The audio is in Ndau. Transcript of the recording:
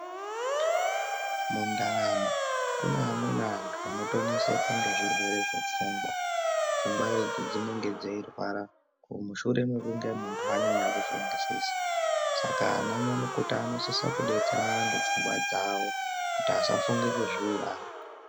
Mundaramo kune amweni anhu anotoneseka ngezvirwere zvepfungwa pfungwa idzi dzinenge dzeirwara mushure mwekunge munhu anyanye kufungisisa saka anyamukuta anosise kudetsera anhu pfungwa dzawo kuti asafunge kuzviuraya.